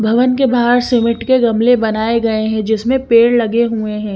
भवन के बहार सीमेंट के गमले बनाये गये है जिसमे पेड़ लगे हुए है।